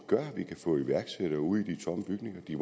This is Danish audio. gør at vi kan få iværksættere ud i de tomme bygninger de